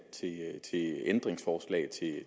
til ændringsforslag